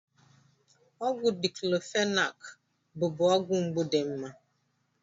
Ọgwụ diklofenak bụbụ ọgwụ mgbu dị mma.